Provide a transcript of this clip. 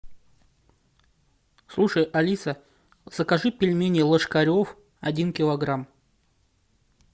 слушай алиса закажи пельмени ложкарев один килограмм